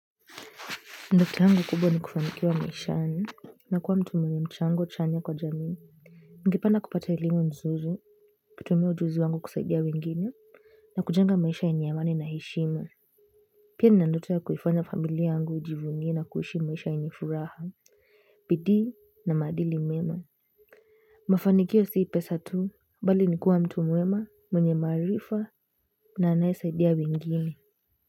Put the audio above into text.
Ndoto yangu kubwa ni kufanikiwa maishani, na kuwa mtu mwenye mchango chanya kwa jamii. Ningependa kupata elimu nzuri, kutumia ujuzi wangu kusaidia wengine, na kujenga maisha yenye amani na heshima. Pia nina ndoto ya kuifanya familia yangu ijivunie na kuishi maisha yenye furaha, bidii na maadili mema. Mafanikio si pesa tu, bali ni kuwa mtu mwema mwenye maarifa na anayesaidia wengine.